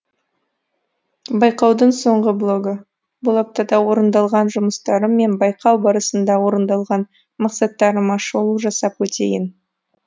байқаудың соңғы блогы бұл аптада орындалған жұмыстарым мен байқау барысында орындалған мақсаттарыма шолу жасап өтейін